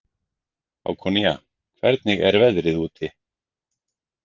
Hákonía, hvernig er veðrið úti?